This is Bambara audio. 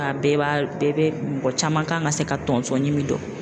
A bɛɛ b'a bɛɛ be mɔgɔ caman kan ka se ka tɔnsɔn ɲimi dɔn.